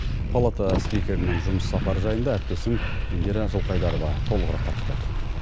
палата спикерінің жұмыс сапар жайында индира жылқайдарова толығырақ тарқытады